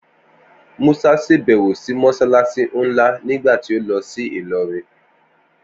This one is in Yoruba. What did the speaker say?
Musa ṣàbẹ̀wò sí Mọ́ṣáláṣí nlá nígbà tí ó lọ sí Ìlọrin